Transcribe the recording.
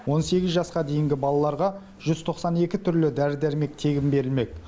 он сегіз жасқа дейінгі балаларға жүз тоқсан екі түрлі дәрі дәрмек тегін берілмек